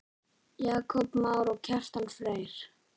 Jakob Már og Kjartan Freyr.